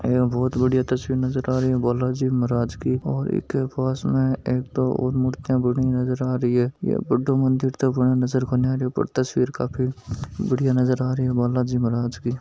यहा बहुत बढ़िया तस्वीर नजर आ रही है और बालाजी महाराज की और पास में के एक और मुर्तिया नजर आ रही है यह बड़ो मंदिर बाणो नजर कोनी आरो तस्वीर काफी बढ़िया नजर आ रही है बालाजी महाराज की--